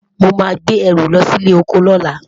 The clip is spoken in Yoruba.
o má gbé ẹrù lọsí ilé ọkọ lola